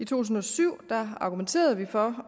tusind og syv argumenterede vi for